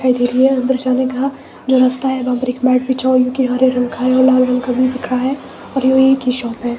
अंदर जाने का जो रास्ता है वहां पर मैट बिछा हुआ जो कि हरे रंग का है और लाल रंग का भी दिख रहा है और इनकी शॉप है।